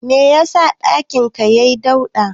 Me yasa ɗakin ka yai dauɗa?